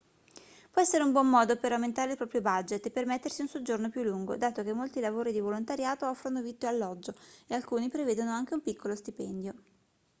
può essere un buon modo per aumentare il proprio budget e permettersi un soggiorno più lungo dato che molti lavori di volontariato offrono vitto e alloggio e alcuni prevedono anche un piccolo stipendio